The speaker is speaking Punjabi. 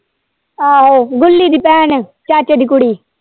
ਆਹੋ ਗੁੱਲੀ ਦੀ ਭੈਣ ਚਾਚੇ ਦੀ ਕੁੜੀ।